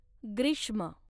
ग्रीष्म